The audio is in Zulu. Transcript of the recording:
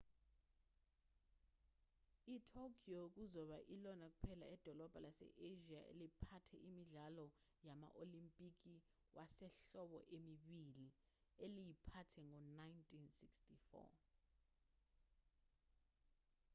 itokyo kuzoba ilona kuphela idolobha lase-asia eliphathe imidlalo yama-olimpiki wasehlobo emibili eliyiphathe ngo-1964